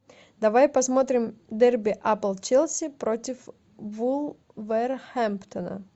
давай посмотрим дерби апл челси против вулверхэмптона